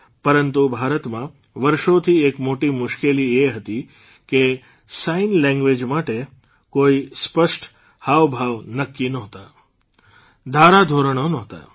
પરંતુ ભારતમાં વર્ષોથી એક મોટી મુશ્કેલી એ હતી કે સાઇન લેંગ્વેઝ માટે કોઇ સ્પષ્ટ હાવભાવ નક્કી નહોતા ધારાધોરણ નહોતા